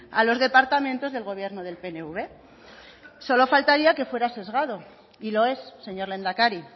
a los departamentos del gobierno del pnv solo faltaría que fuera sesgado y lo es señor lehendakari